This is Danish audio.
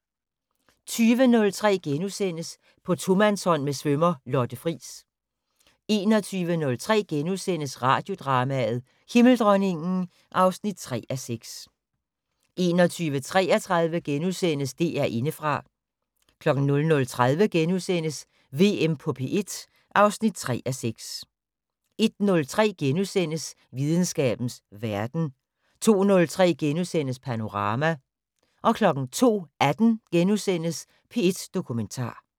20:03: På tomandshånd med svømmer Lotte Friis * 21:03: Radiodrama: Himmeldronningen (3:6)* 21:33: DR Indefra * 00:30: VM på P1 (3:6)* 01:03: Videnskabens Verden * 02:03: Panorama * 02:18: P1 Dokumentar *